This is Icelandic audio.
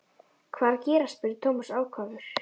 Hvað er að gerast? spurði Thomas ákafur.